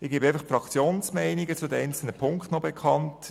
Ich gebe noch die Fraktionsmeinungen zu den einzelnen Punkten bekannt.